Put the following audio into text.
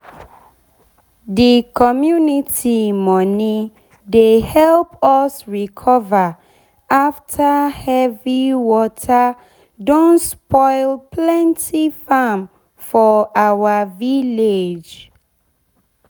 de community money dey help us recover after heavy water don spoil plenty farm for our village.